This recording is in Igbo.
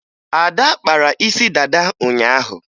Ada kpara isi dada ụnyaahụ